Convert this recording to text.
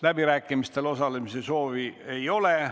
Läbirääkimistel osalemise soovi ei ole.